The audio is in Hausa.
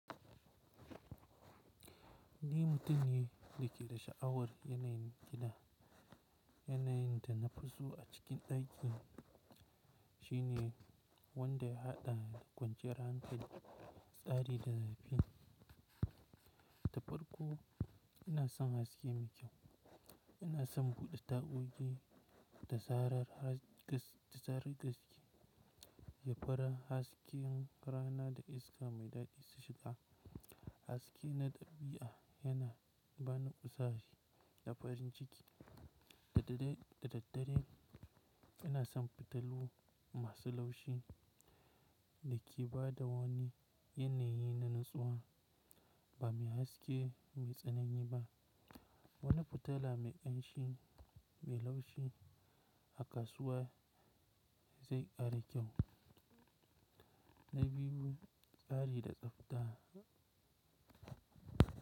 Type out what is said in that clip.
Ni mutum ne da ke da sha'awar yanayin gida, yanayin da na fi so a cikin ɗakin shine wanda ya haɗa da kwanciyar hankali, tsari da lafiya. Da farko ina son haske mai kyau. Ina son buɗe tagogi da zarar gari ya fara hasken rana da iska mai daɗi su shiga. Haske na ɗabi'a yana bani kuzari da farin ciki. Da daddare ina son fitilu masu laushi da ke ba da wani yanayi na natsuwa ba mai haske mai tsanani ba. Wani fitila mai ƙanshi mai laushi a kasuwa zai ƙara kyau. Na biyu, tsari da tsafta.